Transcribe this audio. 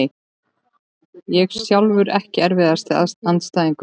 Ég sjálfur EKKI erfiðasti andstæðingur?